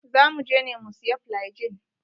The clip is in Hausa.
Za muje ne mu siya flygin.